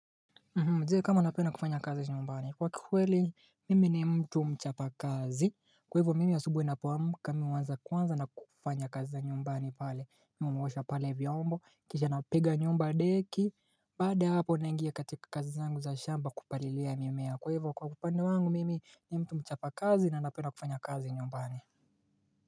Jee kama napenda kufanya kazi nyumbani kwa kikweli mimi ni mtu mchapa kazi kwa hivyo mimi asubuhi napoamka mimi huanza kwanza na kufanya kazi za nyumbani pale Mimi huwosha pale vyombo kisha napiga nyumbadeki Baada ya hapo nangia katika kazi zangu za shamba kupalilia mimea kwa hivyo kwa upande wangu mimi ni mtu mchapa kazi na napenda kufanya kazi nyumbani.